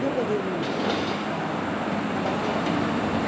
E eu peguei o menino para trabalhar a leitura com ele.